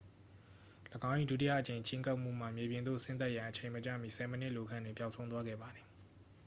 ၎င်း၏ ဒုတိယအကြိမ်ချဉ်းကပ်မှုမှ မြေပြင်သို့ဆင်းသက်ရန်အချိန်မကျမီ ဆယ်မိနစ်အလိုခန့်တွင် ပျောက်ဆုံးသွားခဲ့ပါသည်